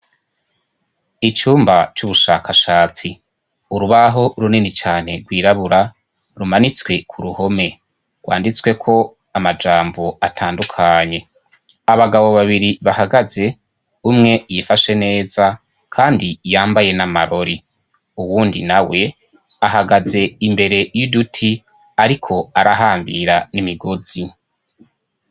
icyumba cy'ubushakashatsi urubaho runini cyane rwirabura rumanitswe ku ruhome rwanditsweko amajambo atandukanye abagabo babiri bahagaze umwe yifashe neza kandi yambaye n'amarori uwundi na we ahagaze imbere y'iduti ariko arahambira n'imigozi